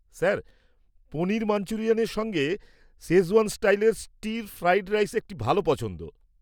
Sir, paneer মাঞ্চুরিয়ানের সঙ্গে schezwan স্টাইলের স্টির ফ্রাইড রাইস একটি ভাল পছন্দ।